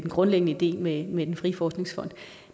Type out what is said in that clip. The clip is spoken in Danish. grundlæggende idé med med den frie forskningsfond